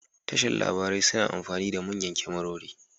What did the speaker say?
Tashar labarai suna amfani da manyan kyamarori